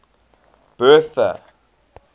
bertha